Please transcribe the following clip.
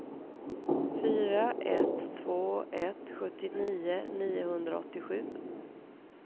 fyra ett två ett sjuttionio niohundraåttiosju